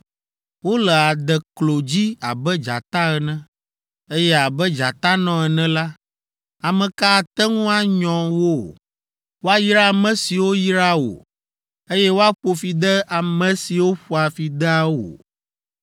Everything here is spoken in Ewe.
Wole adeklo dzi abe dzata ene, eye abe dzatanɔ ene la, ame ka ate ŋu anyɔ wo? “Woayra ame siwo yraa wò. Eye woaƒo fi ade ame siwo ƒoa fi dea wò!”